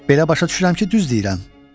Belə başa düşürəm ki, düz deyirəm.